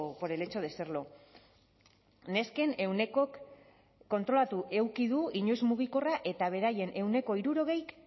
por el hecho de serlo nesken ehunekok kontrolatu eduki du inoiz mugikorra eta beraien ehuneko hirurogeik